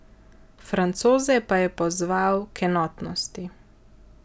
Francoze pa je pozval k enotnosti.